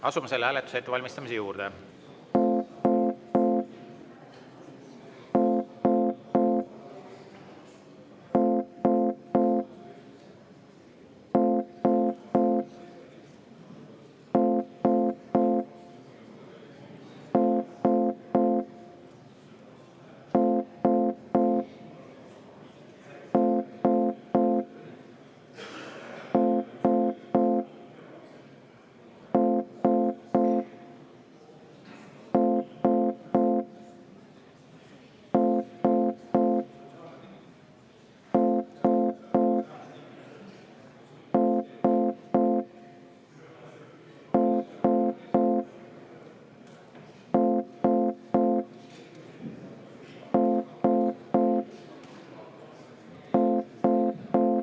Asume selle hääletuse ettevalmistamise juurde.